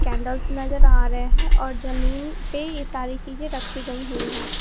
Candles नजर आ रहे हैं और जमीन पे ये सारी चीजें रखी गई हुई हैं।